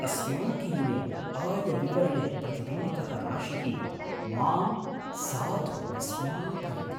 अस्माकीने आयविवरणे प्रतिबिम्बितः राशिः मां साधु विस्मापयति।